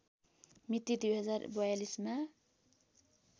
मिति २०४२ मा